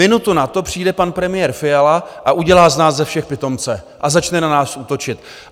Minutu na to přijde pan premiér Fiala a udělá z nás ze všech pitomce a začne na nás útočit.